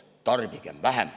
Tarbigem vähem.